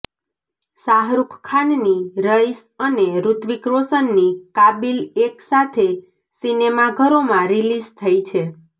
શાહરુખ ખાનની રઈસ અને ઋત્વીક રોશનની કાબિલ એક સાથે સિનેમાઘરોમાં રિલીઝ થઈ છે